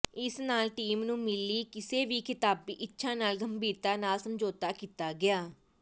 ਇਸ ਨਾਲ ਟੀਮ ਨੂੰ ਮਿਲੀ ਕਿਸੇ ਵੀ ਖ਼ਿਤਾਬੀ ਇੱਛਾ ਨਾਲ ਗੰਭੀਰਤਾ ਨਾਲ ਸਮਝੌਤਾ ਕੀਤਾ ਗਿਆ